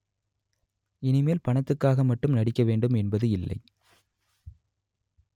இனிமேல் பணத்துக்காக மட்டும் நடிக்க வேண்டும் என்பது இல்லை